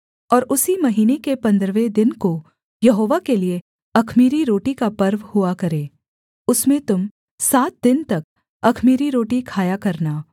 और उसी महीने के पन्द्रहवें दिन को यहोवा के लिये अख़मीरी रोटी का पर्व हुआ करे उसमें तुम सात दिन तक अख़मीरी रोटी खाया करना